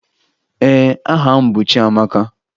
Ee, aha m bụ Chiamaka